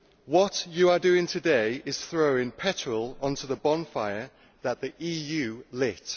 What you are doing today is throwing petrol onto the bonfire which the EU lit.